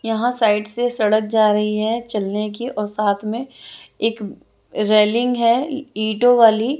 यहाँ साइड से सड़क जा रही है चलने की और साथ में एक म रेलिंग है ईंटों वाली--